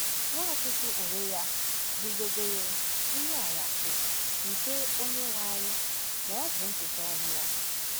Nwachukwu onwe ya guzobere “ nri anyasị nke Onyenwe anyị, ” ma ọ bụ ncheta ọnwụ ya.